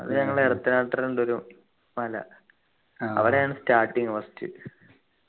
ഞങ്ങളെ ഉണ്ടൊരു മല അവിടെയാണ് starting first